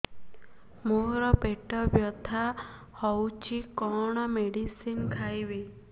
ମୋର ପେଟ ବ୍ୟଥା ହଉଚି କଣ ମେଡିସିନ ଖାଇବି